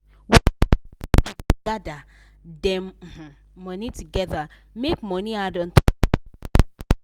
we village pipu da gather dem um money together make money add untop for them for adashi